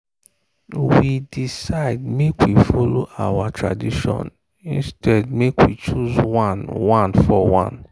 we decide make we follow our tradition instead make we choose one one for one.